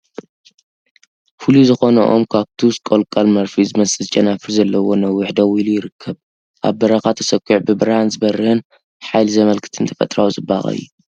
ፍሉይ ዝኾነ ኦም ካክቱስ/ ቆለንቋል መርፍእ ዝመስል ጨናፍር ዘለዎ ነዊሕ ደው ኢሉ ይርከብ። ኣብ በረኻ ተሰዂዑ ብብርሃን ዝበርህን ሓይሊ ዘመልክትን ተፈጥሮኣዊ ጽባቐ እዩ።